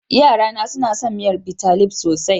Yarana suna son miyar Bitalib sosai.